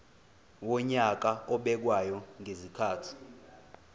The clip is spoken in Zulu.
wonyaka obekwayo ngezikhathi